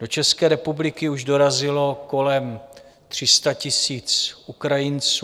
Do České republiky už dorazilo kolem 300 000 Ukrajinců.